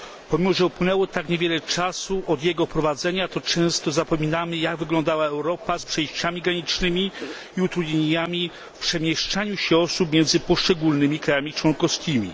Pomimo że upłynęło tak niewiele czasu od jego wprowadzenia to często zapominamy jak wyglądała Europa z przejściami granicznymi i utrudnieniami w przemieszczaniu się osób między poszczególnymi krajami członkowskimi.